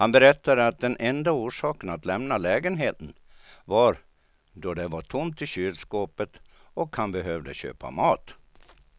Han berättade att den enda orsaken att lämna lägenheten var då det var tomt i kylskåpet och han behövde köpa mat.